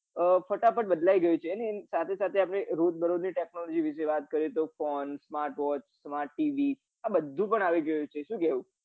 અ ફટાફટ બદલાઈ ગયું છે ને અને એના સાથે સાથે આપડે રોજ બરોજ ની technology વિષે વાત કરીએ phone માં smart watch મા tv આ બધું પણ આવી ગયું છે શું કેવું